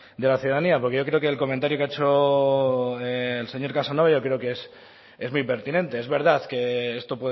de la ciudadanía porque yo creo que el comentario que ha hecho el señor casanova yo creo que es muy impertinente es verdad que esto